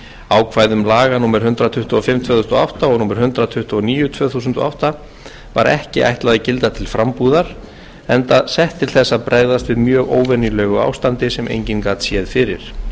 ákvæðum laga númer hundrað tuttugu og fimm tvö þúsund og átta og númer hundrað tuttugu og níu tvö þúsund og átta var ekki ætlað að gilda til frambúðar enda sett til þess að bregðast við mjög óvenjulegu ástandi sem enginn gat séð fyrir